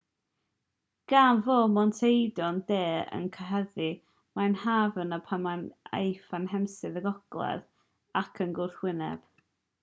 gan fod montevideo i'r de o'r cyhydedd mae'n haf yno pan mae'n aeaf yn hemisffer y gogledd ac i'r gwrthwyneb